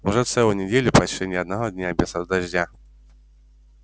уже целую неделю почти ни одного дня без дождя